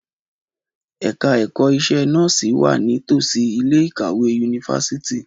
Ẹ̀ka ẹ̀kọ́ iṣẹ́ nọ́ọ̀sì wà ní tòsí ilé ìkàwé yunifásítì